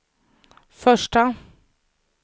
första